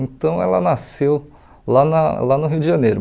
Então ela nasceu lá na lá no Rio de Janeiro.